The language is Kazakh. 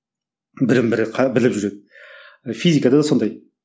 бірін бірі біліп жүреді физикада да сондай